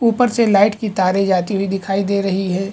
ऊपर से लाइट की तारे जाती हुई दिखाई दे रही है।